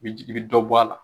i bi jigi i dɔ bɔ a la